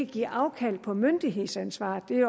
give afkald på myndighedsansvaret det